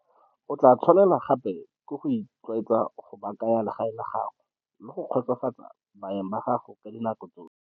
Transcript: O tla tshwanelwa gape le ke go itlwaetsa go baakanya legae la gago le go kgotsofatsa baeng ba gago ka dinako tsotlhe.